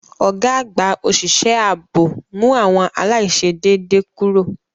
Ọ̀gá àgbà òṣìṣẹ́ ààbò mú àwọn aláìṣedéédé kúrò.